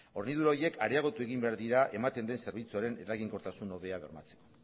hornidura horiek areagotu egin behar dira ematen den zerbitzuaren eraginkortasun hobea bermatzeko